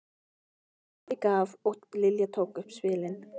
Afi gaf og Lilla tók upp spilin.